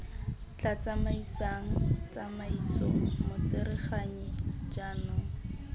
tla tsamaisang tsamaiso motsereganyi jaanong